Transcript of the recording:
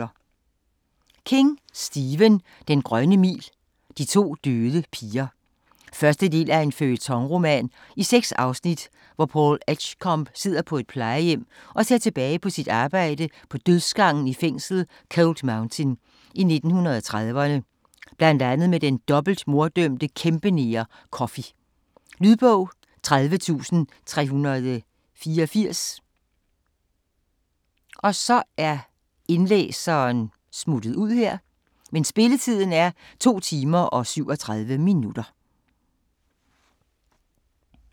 King, Stephen: Den grønne mil: De to døde piger 1. del af en føljetonroman i seks afsnit, hvor Paul Edgecombe sidder på et plejehjem og ser tilbage på sit arbejde på dødsgangen i fængslet Cold Mountain i 1930'erne, bl.a. med den dobbeltmorddømte kæmpeneger Coffey. Lydbog 30384 Spilletid: 2 timer, 37 minutter.